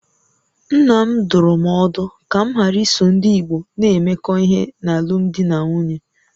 Nna m dụrụ m ọdụ ka m ghara iso ndị Igbo na-emekọ ihe n'alụmdi na nwunye